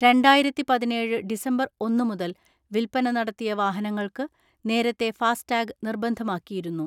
രണ്ടായിരത്തിപതിനേഴ് December ഒന്ന് മുതൽ വിൽപന നടത്തിയ വാഹനങ്ങൾക്ക് നേരത്തെ ഫാസ്ടാഗ് നിർബന്ധമാക്കിയിരുന്നു.